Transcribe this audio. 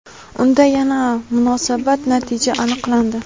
Unda yana musbat natija aniqlandi.